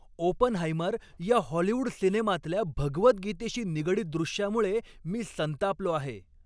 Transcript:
"Oppenheimer" या Hollywood सिनेमातल्या भगवद्गीतेशी निगडीत दृश्यामुळे मी संतापलो आहे.